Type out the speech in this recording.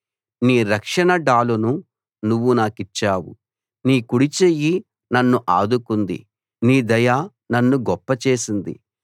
నీ రక్షణ డాలును నువ్వు నాకిచ్చావు నీ కుడిచెయ్యి నన్ను ఆదుకుంది నీ దయ నన్ను గొప్పచేసింది